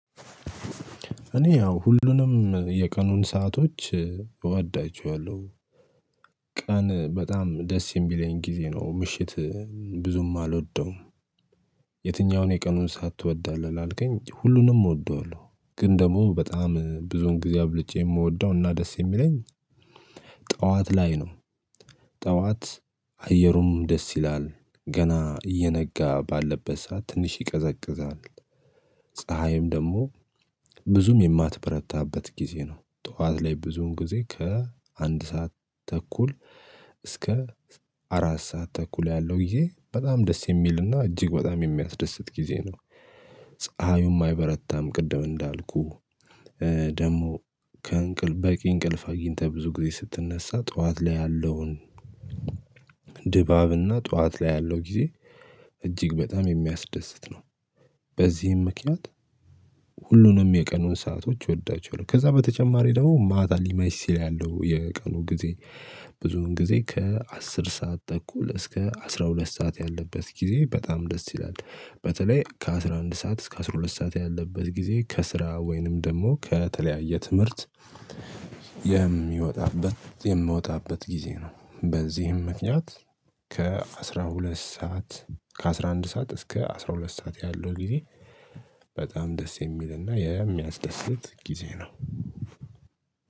እኔ ያው ሁሉንም የቀኑን ሰአቶች እወዳቸዋለሁ ቀን በጣም ደስ የሚለኝ ጊዜ ነው ምሽት ብዙም አልወደውም የትኛውን የቀኑን ሰዓት ትወዳለህ? ላልከኝ ሁሉንም እወደዋለሁ ግን ደግሞ በጣም ብዙን ጊዜ አብልጬ የምወደው እና ደስ የሚለኝ ጠዋት ላይ ነው ጠዋት አየሩም ደስ ይላል ገና እየነጋ ባለበት ሰዓት ትንሽ ይቀዘቅዛል ፀሀይም ደግሞ ብዙም የማትበረታበት ጊዜ ነው ጠዋት ላይ ብዙውን ጊዜ ከአንድ ሰዓት ተኩል እስከ አራት ሰዓት ተኩል ያለው ጊዜ በጣም ደስ የሚልና እጅግ በጣም የሚያስደስት ጊዜ ነው ፀሀዩም አይበረታም ቅድም እንዳልኩ ደግሞ ከእንቅልፍ በቂ እንቅልፍ አግኝተህ ብዙ ጊዜ ስትነሳ ጠዋት ላይ ያለውን ድባብ እና ጠዋት ላይ ያለው ጊዜ እጅግ በጣም የሚያስደስት ነው በዚህም ምክንያት ሁሉንም የቀኑን ሰአቶች እወዳቸዋለሁ ከዛ በተጨማሪ ደግሞ ማታ ሊመሽ ሲል ያለው የቀኑ ጊዜ ብዙውን ጊዜ ከአስር ሰዓት ተኩል እስከ አስራ ሁለት ሰዓት ያለበት ጊዜ በጣም ደስ ይላል በተለይ ከአሥራ አንድ ሰዓት እስከ አስራ ሁለት ሰዓት ያለበት ጊዜ ከስራ ወይንም ደግሞ ከተለያየ ትምህርት የሚወጣበት የምወጣበት ጊዜ ነው በዚህም ምክንያት ከ አስራ ሁለት ሰዓት ከአስራ አንድ ሰዓት እስከ አስራ ሁለት ሰዓት ያለው ጊዜ በጣም ደስ የሚል እና የሚያስደስት ጊዜ ነው